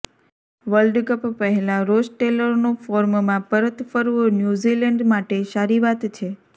world cup પહેલા Ross ટેલરનું ફોર્મમાં પરત ફરવુ ન્યુઝીલેન્ડ માટે સારી વાત છે